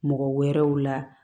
Mɔgɔ wɛrɛw la